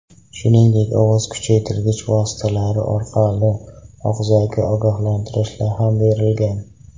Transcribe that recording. Shuningdek, ovoz kuchaytirgich vositalar orqali og‘zaki ogohlantirishlar ham berilgan.